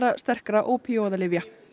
sterkra